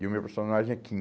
E o meu personagem é Kim.